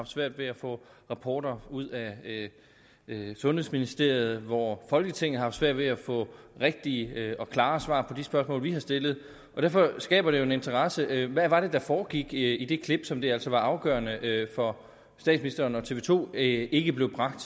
svært ved at få rapporter ud af sundhedsministeriet og hvor folketinget har haft svært ved at få rigtige og klare svar på de spørgsmål vi har stillet derfor skaber det jo en interesse hvad var det der foregik i det klip som det altså var afgørende for statsministeren og tv to ikke blev bragt